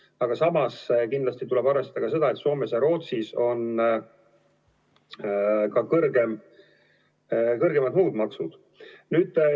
Aga samas kindlasti tuleb arvestada ka seda, et Soomes ja Rootsis on muud maksud kõrgemad.